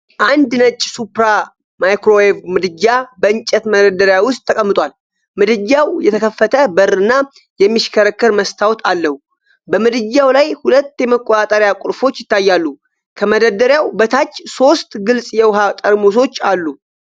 አንድ ነጭ "ሱፕራ" ማይክሮዌቭ ምድጃ በእንጨት መደርደሪያ ውስጥ ተቀምጧል። ምድጃው የተከፈተ በር እና የሚሽከረከር መስታወት አለው። በምድጃው ላይ ሁለት የመቆጣጠሪያ ቁልፎች ይታያሉ። ከመደርደሪያው በታች ሶስት ግልጽ የውሃ ጠርሙሶች አሉ።